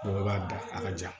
Mɔgɔ b'a da a ka ja